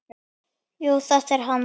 Jú, þetta er hann.